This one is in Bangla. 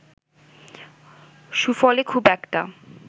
সুফলে খুব একটা